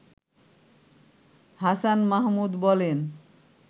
হাসান মাহমুদ বলেন